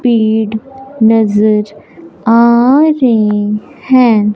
पेड़ नजर आ रे हैं।